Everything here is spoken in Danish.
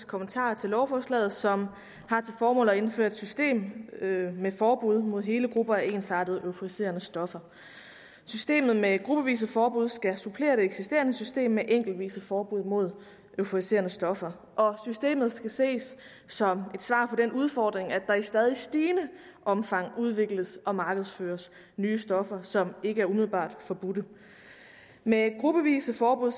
kommentarer til lovforslaget som har til formål at indføre et system med forbud mod hele grupper af ensartede euforiserende stoffer systemet med gruppevise forbud skal supplere det eksisterende system med enkeltvise forbud mod euforiserende stoffer systemet skal ses som et svar på den udfordring at der i stadig stigende omfang udvikles og markedsføres nye stoffer som ikke er umiddelbart forbudte med gruppevise forbud